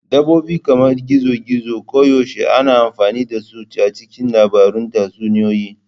Dabbobi kamar gizo-gizo koyaushe ana amfani da su a cikin labarun tatsuniyoyi.